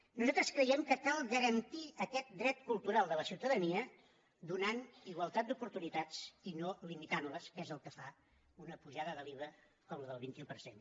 nosaltres creiem que cal garantir aquest dret cultural de la ciutadania donant igualtat d’oportunitats i no limitant les que és el que fa una pujada de l’iva com la del vint un per cent